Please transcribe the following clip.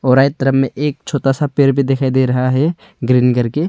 तरफ में एक छोटा सा पेड़ भी दिखाई दे रहा है ग्रीन करके।